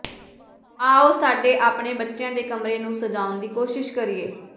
ਆਉ ਸਾਡੇ ਆਪਣੇ ਬੱਚਿਆਂ ਦੇ ਕਮਰੇ ਨੂੰ ਸਜਾਉਣ ਦੀ ਕੋਸ਼ਿਸ਼ ਕਰੀਏ